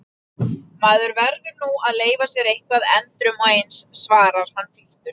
Maður verður nú að leyfa sér eitthvað endrum og eins, svarar hann fýldur.